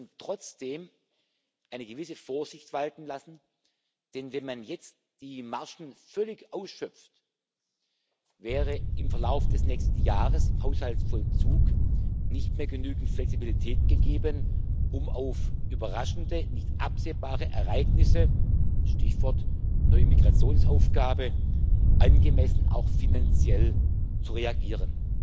Wir sollten trotzdem eine gewisse Vorsicht walten lassen, denn wenn man jetzt die Margen völlig ausschöpft, wäre im Verlauf des nächsten Jahres im Haushaltsvollzug nicht mehr genügend Flexibilität gegeben, um auf überraschende, nicht absehbare Ereignisse Stichwort neue Migrationsaufgabe auch finanziell angemessen zu reagieren.